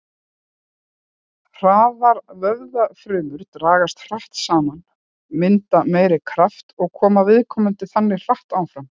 Hraðar vöðvafrumur dragast hratt saman, mynda meiri kraft og koma viðkomandi þannig hraðar áfram.